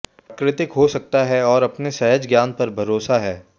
प्राकृतिक हो सकता है और अपने सहज ज्ञान पर भरोसा है